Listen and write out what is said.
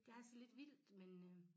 Det er altså lidt vildt men øh